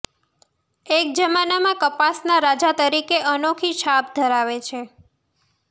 એક જમાનામાં કપાસના રાજા તરીકે અનોખી છાપ ધરાવે છે